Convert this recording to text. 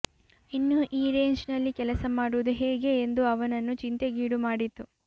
ಇನ್ನು ಈ ರೇಂಜ್ ನಲ್ಲಿ ಕೆಲಸ ಮಾಡುವುದು ಹೇಗೆ ಎಂದು ಅವನನ್ನು ಚಿಂತೆಗೀಡು ಮಾಡಿತು